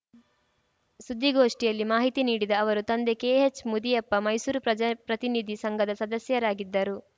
ಸುದ್ದಿಗೋಷ್ಟಿಯಲ್ಲಿ ಮಾಹಿತಿ ನೀಡಿದ ಅವರು ತಂದೆ ಕೆಎಚ್‌ ಮುದಿಯಪ್ಪ ಮೈಸೂರು ಪ್ರಜಾ ಪ್ರತಿನಿಧಿ ಸಂಘದ ಸದಸ್ಯರಾಗಿದ್ದರು